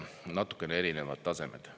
Natukene erinevad tasemed.